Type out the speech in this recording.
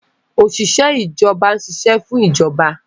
Òṣìṣẹ́ ìjọba ń ṣiṣẹ́ fún ìjọba